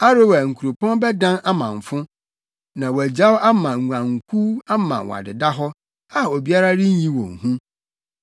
Aroer nkuropɔn bɛdan amamfo na wɔagyaw ama nguankuw ama wɔadeda hɔ, a obiara renyi wɔn hu.